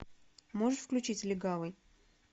можешь включить легавый